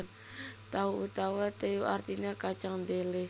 Tao utawa teu artiné kacang dhelé